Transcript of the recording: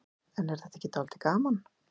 Kristján: En er þetta ekki dálítið gaman?